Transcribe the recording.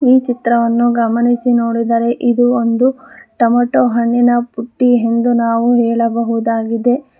ಈ ಚಿತ್ರವನ್ನು ಗಮನಿಸಿ ನೋಡಿದರೆ ಇದು ಒಂದು ಟೊಮೇಟೊ ಹಣ್ಣಿನ ಬುಟ್ಟಿ ಎಂದು ನಾವು ಹೇಳಬಹುದಾಗಿದೆ.